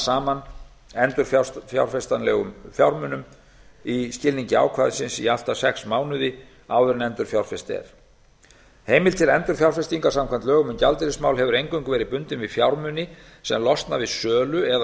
saman endurfjárfestanlegum fjármunum í skilningi ákvæðisins í allt að sex mánuði áður en fjárfest er heimild til endurfjárfestingar samkvæmt lögum um gjaldeyrismál hefur eingöngu verið bundin við fjármuni sem losna við sölu eða